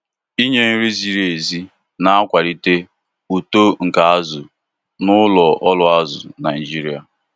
inye nri ziri ezi na-akwalite uto nke azu na ụlọ ọrụ azụ Naijiria.